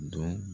Dɔn